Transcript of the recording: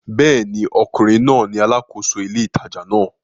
Bẹ́ẹ̀ ni, ọkùnrin náà ni alákòóso ile ìtajà náà